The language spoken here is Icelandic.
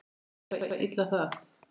Menn þola illa það.